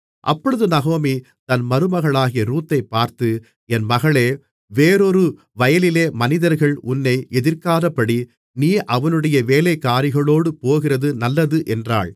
அப்பொழுது நகோமி தன் மருமகளாகிய ரூத்தைப் பார்த்து என் மகளே வேறொரு வயலிலே மனிதர்கள் உன்னை எதிர்க்காதபடி நீ அவனுடைய வேலைக்காரிகளோடு போகிறது நல்லது என்றாள்